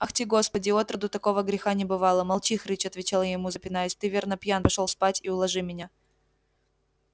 ахти господи отроду такого греха не бывало молчи хрыч отвечал я ему запинаясь ты верно пьян пошёл спать и уложи меня